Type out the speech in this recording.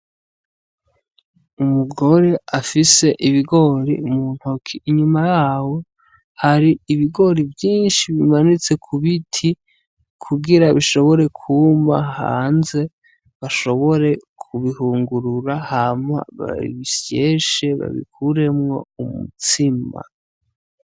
Umugore afise ibigori m'untoki inyuma yabo hari ubigori vyishi bimanitse k'ubiti kugira bishobore kuma hanze bashobore kubihungurura hama babisyeshe babikuremwo umutsima.